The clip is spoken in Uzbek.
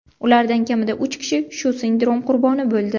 Ulardan kamida uch kishi shu sindrom qurboni bo‘ldi.